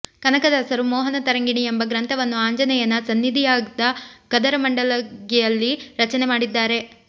ಕನಕದಾಸರು ಮೋಹನ ತರಂಗಿಣಿ ಎಂಬ ಗ್ರಂಥವನ್ನು ಆಂಜನೇಯನ ಸನ್ನಿಧಿಯಾದ ಕದರಮಂಡಲಗಿಯಲ್ಲಿ ರಚನೆ ಮಾಡಿದ್ದಾರೆ